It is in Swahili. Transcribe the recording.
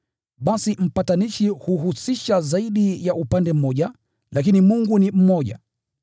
Basi mpatanishi huhusisha zaidi ya upande mmoja, lakini Mungu ni mmoja.